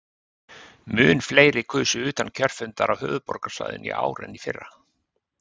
Mun fleiri kusu utan kjörfundar á höfuðborgarsvæðinu í ár en í fyrra.